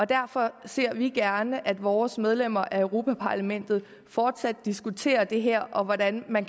derfor ser vi gerne at vores medlemmer af europa parlamentet fortsat diskuterer det her og hvordan man